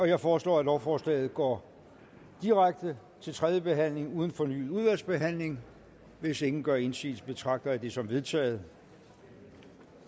jeg foreslår at lovforslaget går direkte til tredje behandling uden fornyet udvalgsbehandling hvis ingen gør indsigelse betragter jeg det som vedtaget